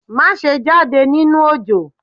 Maṣe jade ninu òjò!